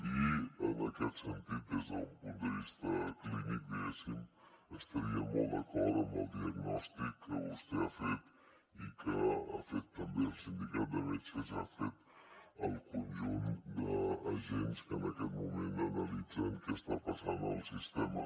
i en aquest sentit des d’un punt de vista clínic diguéssim estaria molt d’acord amb el diagnòstic que vostè ha fet i que ha fet també el sindicat de metges i ha fet el conjunt d’agents que en aquest moment analitzen què està passant al sistema